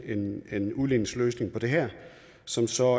en udligningsløsning på det her som så